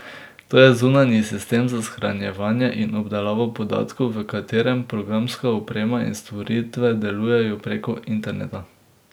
To je zunanji sistem za shranjevanje in obdelavo podatkov, v katerem programska oprema in storitve delujejo prek interneta.